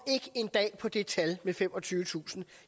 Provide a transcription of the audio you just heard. på det tal med de femogtyvetusind